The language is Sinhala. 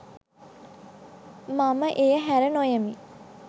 මම එය හැර නොයමි